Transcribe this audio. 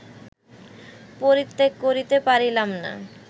পরিত্যাগ করিতে পারিলাম না